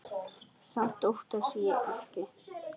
Samt óttast ég ekki.